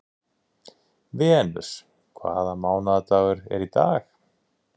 Venus, hvaða mánaðardagur er í dag?